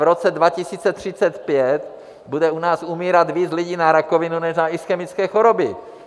V roce 2035 bude u nás umírat víc lidí na rakovinu než na ischemické choroby.